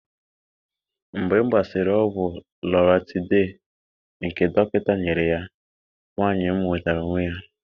Mgbe m gbasịrị ọgwụ loratiday nke dọkịta nyere ya, nwanyị m nwetara onwe ya.